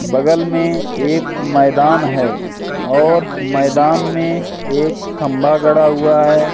बगल में एक मैदान है और मैदान में एक खंभा गड़ा हुआ हैं।